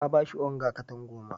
Ta ba shi onga katan goma.